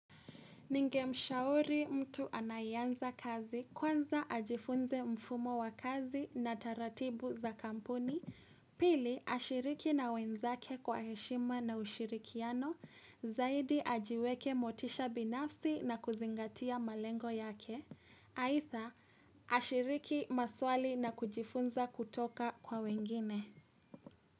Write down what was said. Ningemshauri mtu anayeanza kazi kwanza ajifunze mfumo wa kazi na taratibu za kampuni, pili ashiriki na wenzake kwa heshima na ushirikiano, zaidi ajiweke motisha binafsi na kuzingatia malengo yake, aitha ashiriki maswali na kujifunza kutoka kwa wengine.